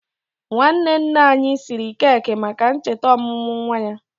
Nwanne nne anyị siri keki maka ncheta ọmụmụ nwa ya.